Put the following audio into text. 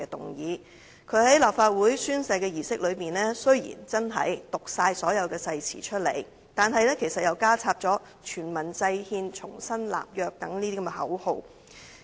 雖然他在立法會宣誓的儀式中的確讀完整篇誓詞，但其實他加插了全民制憲、重新立約等口號。